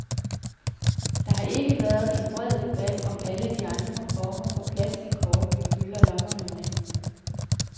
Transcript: Der har ikke været en bred debat om alle de andre former for plastickort, vi fylder lommerne med.